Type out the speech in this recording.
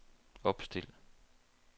opstil